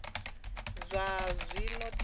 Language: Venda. zwa vha zwo tea na